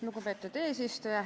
Lugupeetud eesistuja!